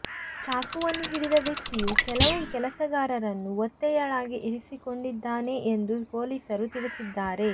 ಚಾಕುವನ್ನು ಹಿಡಿದ ವ್ಯಕ್ತಿಯು ಕೆಲವು ಕೆಲಸಗಾರರನ್ನು ಒತ್ತೆಯಾಳಾಗಿ ಇರಿಸಿಕೊಂಡಿದ್ದಾನೆ ಎಂದು ಪೊಲೀಸರು ತಿಳಿಸಿದ್ದಾರೆ